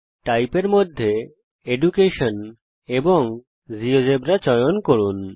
Type এর মধ্যে education এবং জিওজেবরা চয়ন করুন